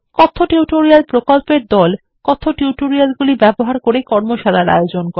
কথ্য টিউটোরিয়াল প্রকল্পর দল কথ্য টিউটোরিয়ালগুলি ব্যবহার করে কর্মশালার আয়োজন করে